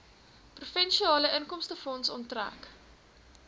provinsiale inkomstefonds onttrek